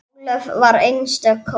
Ólöf var einstök kona.